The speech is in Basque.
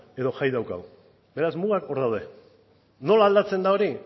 edo jai daukagu beraz mugak hor daude nola aldatzen da hori